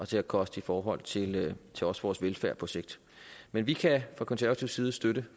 til at koste i forhold til vores vores velfærd på sigt men vi kan fra konservativ side støtte